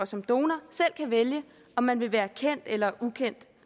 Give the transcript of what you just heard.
som donor selv kan vælge om man vil være kendt eller ukendt